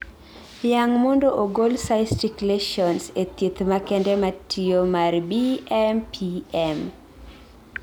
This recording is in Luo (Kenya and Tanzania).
yang' mondo ogol cystic lesions e thieth makende matiyo mar BMPM